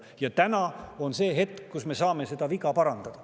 Ja täna on see hetk, kui me saame seda viga parandada.